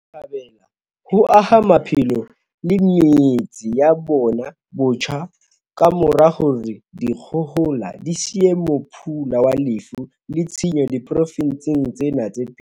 Botjhabela ho aha maphelo le metse ya bona botjha ka mora hore dikgohola di siye mophula wa lefu le tshenyo diprofenseng tsena tse pedi.